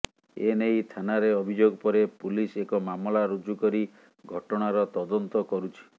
ଏନେଇ ଥାନାରେ ଅଭିଯୋଗ ପରେ ପୁଲିସ ଏକ ମାମଲା ରୁଜୁ କରି ଘଟଣାର ତଦନ୍ତ କରୁଛି